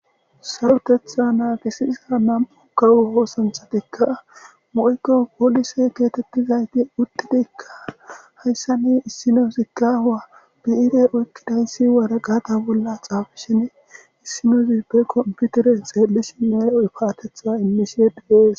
Son uththida issi gamon kawo oosanchchatikka woykko polise geetheththida ethikka uththidi hayssani issinoyzikka biire uththidasi waraqataa bolla tsaafishen;qofaa immisheekka de7ees guusakoo.